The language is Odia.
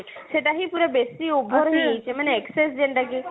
ସେଇଟା ହିଁ ପୁରା ବେଶୀ over ହେଇ ଯାଇଛି ମାନେ excess ଯେନ୍ତା କି